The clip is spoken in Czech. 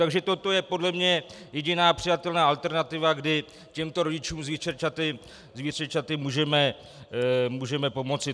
Takže tohle je podle mě jediná přijatelná alternativa, kdy těmto rodičům s vícerčaty můžeme pomoci.